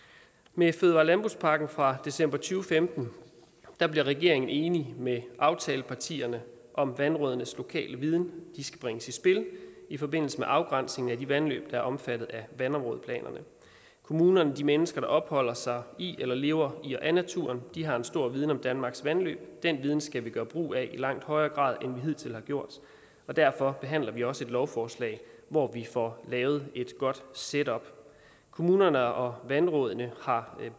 med fødevare og landbrugspakken fra december to femten blev regeringen enig med aftalepartierne om at vandrådenes lokale viden skal bringes i spil i forbindelse med afgrænsningen af de vandløb der er omfattet af vandområdeplanerne kommunerne de mennesker der opholder sig i eller lever i og af naturen har en stor viden om danmarks vandløb den viden skal vi gøre brug af i langt højere grad end vi hidtil har gjort derfor behandler vi også et lovforslag hvor vi får lavet et godt setup kommunerne og vandrådene har